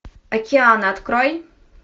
океаны открой